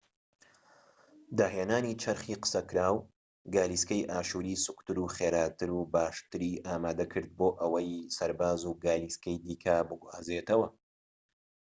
داهێنانی چەرخی قسەکراو گالیسکەی ئاشووری سووکتر و خێراتر و باشتری ئامادە کرد بۆ ئەوەی سەرباز و گالیسکەی دیکە بگوازێتەوە